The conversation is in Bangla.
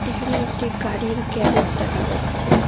এখানে একটি গাড়ির গ্যারেজ দেখা যাচ্ছে।